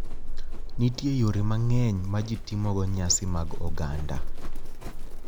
Nitie yore mang’eny ma ji timogo nyasi mag oganda.